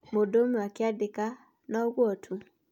Mũndũ ũmwe akĩandĩka " no ũguo tu" ?